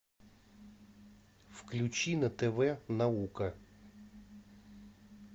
включи на тв наука